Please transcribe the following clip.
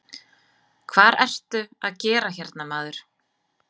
Hvar ertu að gera hérna maður?